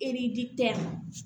Eridi